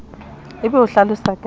o be o hlalose ka